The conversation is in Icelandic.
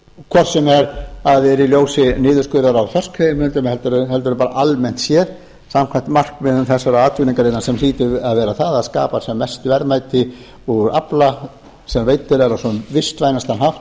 sem það er í ljósi niðurskurðar á þorskveiðiheimildum heldur bara almennt séð samkvæmt markmiðum þessarar atvinnugreinar sem hlýtur að vera það að skapa sem mest verðmæti úr afla sem veiddur er á sem vistvænastan hátt